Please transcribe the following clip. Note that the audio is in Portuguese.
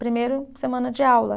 Primeiro semana de aula.